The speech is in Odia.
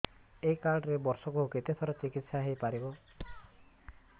ଏଇ କାର୍ଡ ରେ ବର୍ଷକୁ କେତେ ଥର ଚିକିତ୍ସା ହେଇପାରିବ